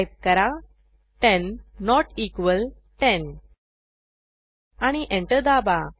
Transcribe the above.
type करा 10 not equal 10 आणि enter दाबा